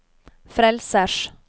frelsers